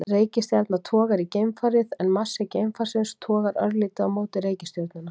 reikistjarna togar í geimfarið en massi geimfarsins togar örlítið á móti í reikistjörnuna